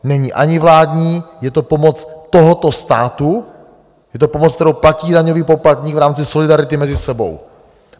Není ani vládní, je to pomoc tohoto státu, je to pomoc, kterou platí daňový poplatník v rámci solidarity mezi sebou.